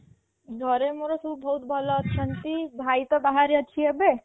ଘରେ ମୋର ସବୁ ବହୁତ ଭଲ ଅଛନ୍ତି ଭାଇ ତ ବାହାରେ ଅଛି ଏବେ